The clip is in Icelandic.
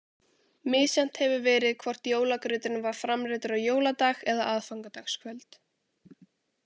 Misjafnt hefur verið hvort jólagrauturinn var framreiddur á jóladag eða aðfangadagskvöld.